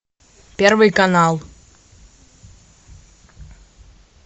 первый канал